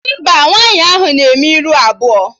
Mba, nwaanyị ahụ na-eme ihu abụọ